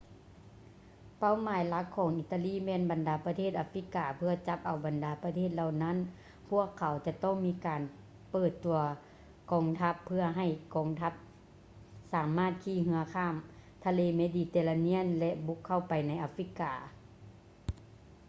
ເປົ້າໝາຍຫຼັກຂອງອີຕາລີແມ່ນບັນດາປະເທດອາຟຣິກາ ເພື່ອຈັບເອົາບັນດາປະເທດເຫຼົ່ານັ້ນ ພວກເຂົາຈະຕ້ອງມີການເປີດຕົວກອງທັບ ເພື່ອໃຫ້ກອງທັບສາມາດຂີ່ເຮືອຂ້າມທະເລເມດີເຕເຣນຽນ ແລະ ບຸກເຂົ້າໄປໃນອາຟຣິກາ